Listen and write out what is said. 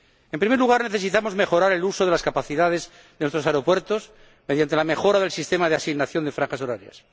En primer lugar, necesitamos mejorar el uso de las capacidades de nuestros aeropuertos mediante la mejora del sistema de asignación de franjas horarias.